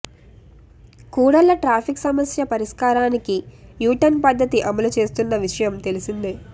కూడళ్ల traffic సమస్య పరిష్కారానికి U turn పద్ధతి అమలు చేస్తున్న విషయం తెలిసిందే